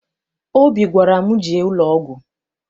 Obi gwara m, jee ụlọọgwụ!